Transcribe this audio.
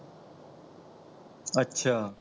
ਅੱਛਾ